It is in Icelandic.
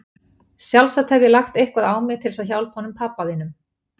Sjálfsagt hef ég lagt eitthvað á mig til þess að hjálpa honum pabba þínum.